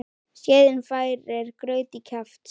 Skeiðin færir graut í kjaft.